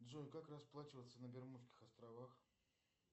джой как расплачиваться на бермудских островах